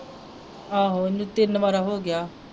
ਆਹੋ ਉਹਨੂੰ ਤਿੰਨ ਵਾਰ ਹੋ ਗਿਆ